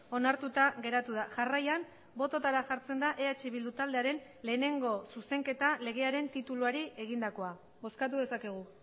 onartuta geratu da jarraian bototara jartzen da eh bildu taldearen lehenengo zuzenketa legearen tituluari egindakoa bozkatu dezakegu